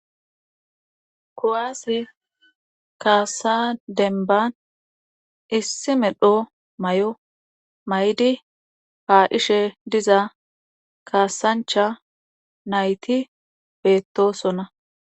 Kowaase kaasa denban issi medho may'o maydi haadhishe diza kaasancha nayti beettosona.